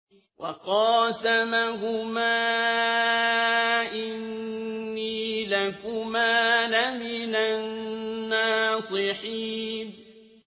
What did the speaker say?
وَقَاسَمَهُمَا إِنِّي لَكُمَا لَمِنَ النَّاصِحِينَ